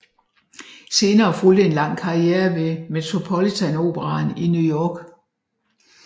Senere fulgte en lang karriere ved Metropolitan operaen i New York